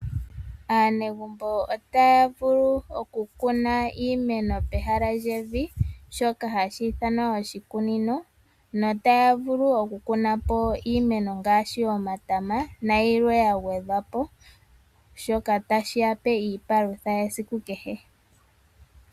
Aanegumbo otaya vulu okukuna iimeno pehala lyevi, shoka hashi ithanwa oshikunino. Otaya vulu okukuna po iimeno ngaashi omatama, nayilwe ya gwedhwa po. Shoka otashi ya pe iipalutha yesiku kehe.